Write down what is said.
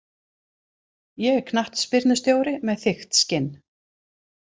Ég er knattspyrnustjóri með þykkt skinn.